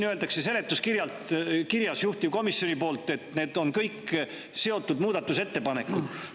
Seletuskirjas öeldakse juhtivkomisjoni poolt, et need on kõik seotud muudatusettepanekud.